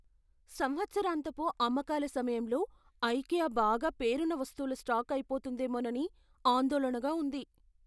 సంవత్సరాంతపు అమ్మకాల సమయంలో ఐకియా బాగా పేరున్న వస్తువుల స్టాక్ అయిపోతుందేమోనని ఆందోళనగా ఉంది.